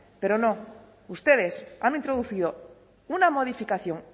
pero no ustedes han introducido una modificación